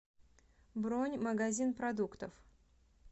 бронь магазин продуктов